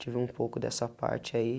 Tive um pouco dessa parte aí.